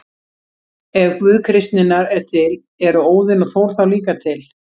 Ef Guð kristninnar er til, eru Óðinn og Þór þá líka til?